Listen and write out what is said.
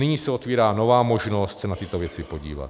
Nyní se otvírá nová možnost se na tyto věci podívat.